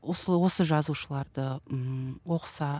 осы осы жазушыларды ммм оқыса